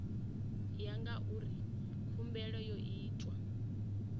ya ngauri khumbelo yo itwa